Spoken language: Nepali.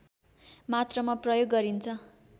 मात्रामा प्रयोग गरिन्छ